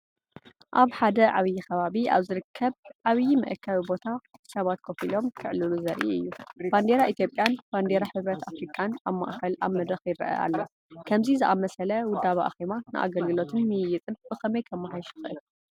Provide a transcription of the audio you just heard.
ኣብ ሓደ ዓቢይ ከባቢ ኣብ ዝርከብ ዓቢይ መአከቢ ቦታ ሰባት ኮፍ ኢሎም ክዕልሉ ዘርኢ እዩ። ባንዴራ ኢትዮጵያን ባንዴራ ሕብረት ኣፍሪቃን ኣብ ማእኸል ኣብ መደረክ ይረአ ኣሎ። ከምዚ ዝኣመሰለ ወደበ ኣኼባ ንኣገልግሎትን ምይይጥን ብኸመይ ከመሓይሽ ይኽእል?